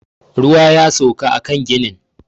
Ruwa ya sauka a kan ginin